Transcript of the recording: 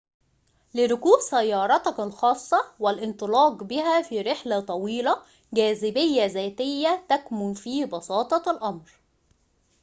لركوب سيارتك الخاصة والانطلاق بها في رحلة طويلة جاذبية ذاتية تكمن في بساطة الأمر